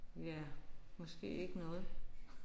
Ja måske ikke noget